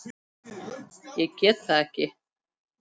Ég get það ekki